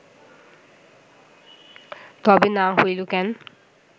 তবে না হইল কেন